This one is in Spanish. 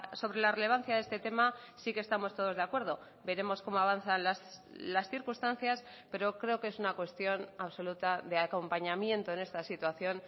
sobre la relevancia de este tema sí que estamos todos de acuerdo veremos cómo avanzan las circunstancias pero creo que es una cuestión absoluta de acompañamiento en esta situación